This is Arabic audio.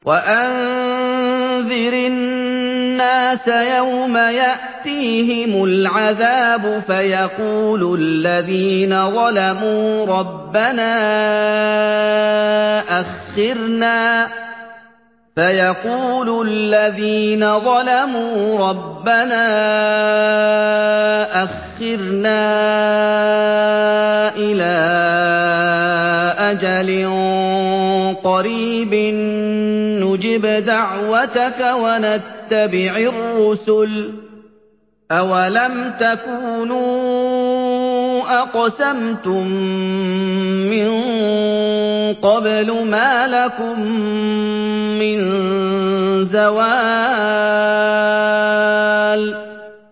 وَأَنذِرِ النَّاسَ يَوْمَ يَأْتِيهِمُ الْعَذَابُ فَيَقُولُ الَّذِينَ ظَلَمُوا رَبَّنَا أَخِّرْنَا إِلَىٰ أَجَلٍ قَرِيبٍ نُّجِبْ دَعْوَتَكَ وَنَتَّبِعِ الرُّسُلَ ۗ أَوَلَمْ تَكُونُوا أَقْسَمْتُم مِّن قَبْلُ مَا لَكُم مِّن زَوَالٍ